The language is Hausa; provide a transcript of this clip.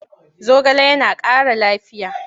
Zogale yana ƙara lafiya.